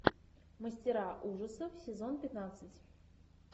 мастера ужасов сезон пятнадцать